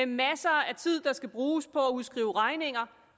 masser af tid skal bruges på udskrive regninger